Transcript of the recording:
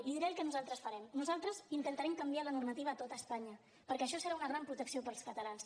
li diré el que nosaltres farem nosaltres intentarem canviar la normativa a tot espanya perquè això serà una gran protecció per als catalans